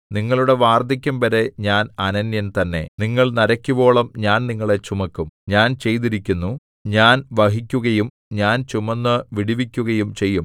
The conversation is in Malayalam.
നിങ്ങളുടെ വാർദ്ധക്യംവരെ ഞാൻ അനന്യൻ തന്നെ നിങ്ങൾ നരയ്ക്കുവോളം ഞാൻ നിങ്ങളെ ചുമക്കും ഞാൻ ചെയ്തിരിക്കുന്നു ഞാൻ വഹിക്കുകയും ഞാൻ ചുമന്ന് വിടുവിക്കുകയും ചെയ്യും